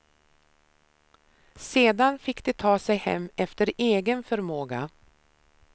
Sedan fick de ta sig hem efter egen förmåga.